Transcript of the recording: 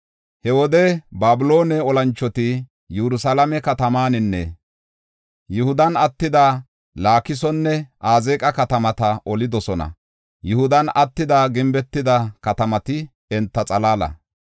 He wode Babiloone olanchoti Yerusalaame katamaanne Yihudan attida Laakisonne Azeeqa katamata olidosona. Yihudan attida gimbetida katamati enta xalaala.